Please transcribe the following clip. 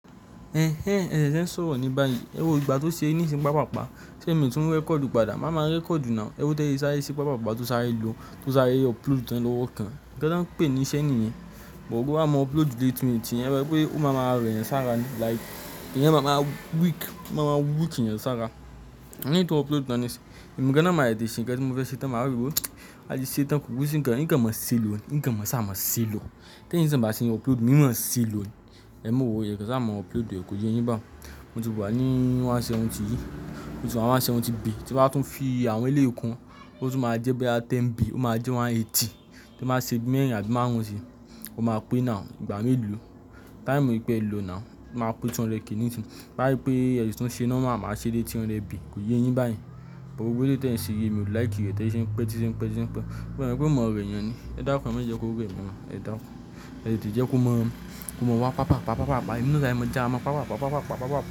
Ẹ̀hẹn ẹṣẹ fe sọ̀rọ̀ ní báyan Ẹ wo ìgbà tó ṣe nísìí ń pa pàpá, ṣé èmi tún rẹ̀kọ́ọ̀dù padà? Màmá rẹ̀kọ́ọ̀dù náà, ẹwo bi ese sáré sí pa pàpá tó sáré lò tó sáré upload tan lówó kan. Ti e ba ń pè ní iṣẹ́ nìyan. But bo ba mú upload de 80 minutes yẹn, ẹ mo pé ó máa máa rẹ̀yẹn sára ní like. Ìyẹn máa ma weak, máa ma weak eyan sára. Eyi tó upload tan nisinyi, èmi gan náà máa tete ṣẹ́ nǹkan tí mo fẹ́ ṣetán, màá rí wò a ṣi ṣetán ko kun sí nǹkan, nǹkan máa ṣi lò ní, nǹkan máa ṣa má ṣi lò. Ti eyi sì ń bá ti ń upload, e máa ṣe lò ní. Ema worry e sa ma upload rẹ̀ kò yé yín bá. O ti wù a ní ọgọ́rùn-ún ó lé ní àádọ́rin yìí, o ti wa ni ọgọ́rùn-ún ó lé ní àádọ́rin be, tí un bá tún fi àwọn eleyi kun, ó tún máa jẹ́ boya bi mẹ́wàá be, ó máa jẹ́ ọgọ́rùn-ún ó lé ní ọgọ́rin, tí un baa ṣe bí mẹ́rin àbí márùn-ún sí i. Ó máa pè now ìgbà mélòó, táìmù epẹ̀ lòó now o máa pè 200 k nisi. To ba sí je pé ẹ de normal, màá ṣe de ọ̀ọ́dúnrún bay, kò yé yín báyìí. Gbogbo eleyi tẹ́ ẹ̀ ṣi yi, èmi ò like rẹ̀ tẹ́ ìṣe ń pẹ́, tí ṣé ń pẹ́, tí ṣé ń pẹ́. E mo wípé yo ma rẹ̀yan ni, ẹ dakun ema je ko re mi o, ẹ dakun. Ẹ ṣèdíje kó mọ̀ ọ́n, kó mọ̀ wá pàpà, pàpà, pàpà, pàpà, inú sáré mo já mo pàpà, pàpà, pàpà, pàpà, pàpà, pàpà.